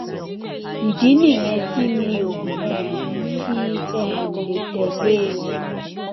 ìdí nìyẹn tí mi ò um fi um lè tẹ lé e